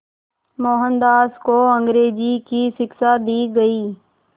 मोहनदास को अंग्रेज़ी की शिक्षा दी गई